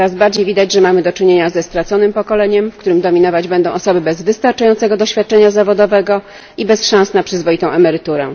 Coraz bardziej widać, że mamy do czynienia ze straconym pokoleniem, w którym dominować będą osoby bez wystarczającego doświadczenia zawodowego i bez szans na przyzwoitą emeryturę.